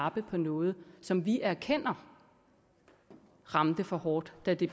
lappe på noget som vi erkender ramte for hårdt da det